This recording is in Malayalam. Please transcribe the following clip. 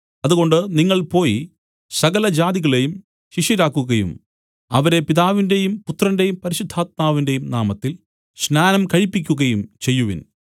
അതുകൊണ്ട് നിങ്ങൾ പോയി സകലജാതികളെയും ശിഷ്യരാക്കുകയും അവരെ പിതാവിന്റെയും പുത്രന്റെയും പരിശുദ്ധാത്മാവിന്റെയും നാമത്തിൽ സ്നാനം കഴിപ്പിക്കുകയും ചെയ്യുവിൻ